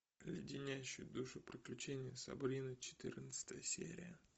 леденящие душу приключения сабрины четырнадцатая серия